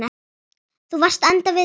Þú varst að enda við.